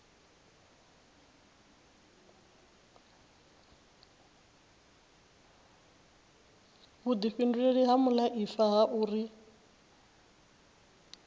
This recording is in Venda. vhuifhinduleli ha muaifa ha uri